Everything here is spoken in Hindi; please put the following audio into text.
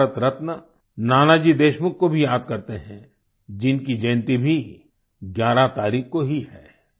हम भारत रत्न नानाजी देशमुख को भी याद करते हैं जिनकी जयंती भी 11 तारीख को ही है